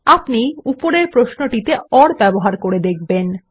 আপনি উপরের প্রশ্নতে ওর ব্যবহার করে দেখবেন